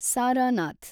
Sarnath